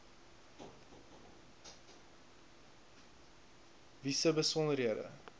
wie se besonderhede